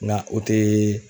Ŋa o tee